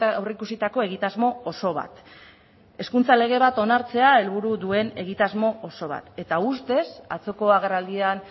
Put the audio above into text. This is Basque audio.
aurrikusitako egitasmo oso bat hezkuntza lege bat onartzea helburu duen egitasmo oso bat eta ustez atzoko agerraldian